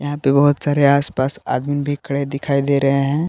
यहां पे बहुत सारे आसपास आदमीन भी खड़े दिखाई दे रहे हैं।